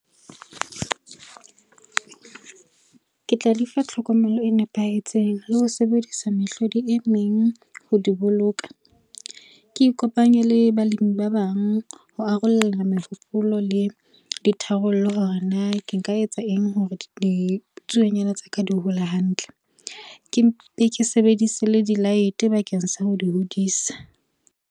Ke tla di fa tlhokomelo e nepahetseng le ho sebedisa mehlodi e meng ho di boloka. Ke ikopanye le balemi ba bang ho ararolelana mehopolo le ditharollo hore na ke nka etsa eng hore ditsuonyana tsa ka di hole hantle. Ke sebedise le di-light bakeng sa ho di hodisa.